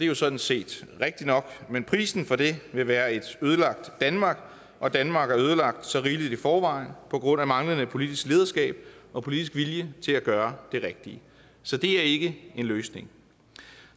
jo sådan set rigtigt nok men prisen for det vil være et ødelagt danmark og danmark er ødelagt så rigeligt i forvejen på grund af manglende politisk lederskab og politisk vilje til at gøre det rigtige så det er ikke en løsning